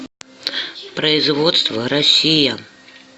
производство россия